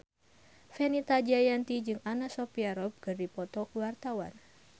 Fenita Jayanti jeung Anna Sophia Robb keur dipoto ku wartawan